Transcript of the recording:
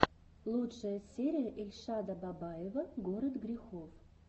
лучшая серия эльшада бабаева город грехов